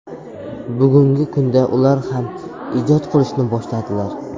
Bugungi kunda ular ham ijod qilishni boshladilar.